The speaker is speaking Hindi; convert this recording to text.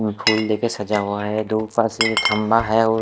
फूल देखे सजा हुआ है धूपर से जो थम्भा है वो--